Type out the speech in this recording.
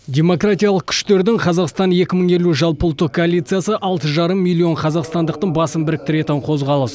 демократиялық күштердің қазақстан екі мың елу жалпыұлттық коалициясы алты жарым миллион қазақстандықтың басын біріктіретін қозғалыс